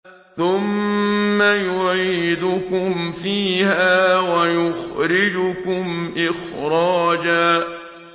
ثُمَّ يُعِيدُكُمْ فِيهَا وَيُخْرِجُكُمْ إِخْرَاجًا